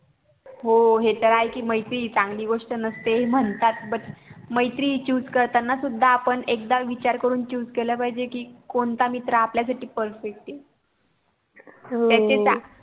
हो हे तर आहे कि मैत्री चांगली गोष्ट नसते असे मन्ह्तात मैत्रीची पण निवड करताना विचार करून करावा कि आपण चांगले मित्र निवडत अहो